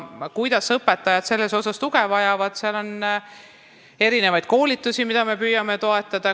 Kui õpetajad selles osas tuge vajavad, siis on erinevaid koolitusi, millega me püüame neid toetada.